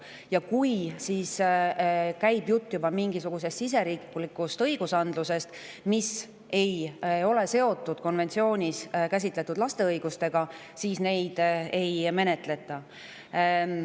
Ja kui jutt käib juba siseriiklikust, mis ei ole seotud selles konventsioonis käsitletud õigustega, siis neid ei menetleta.